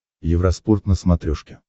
евроспорт на смотрешке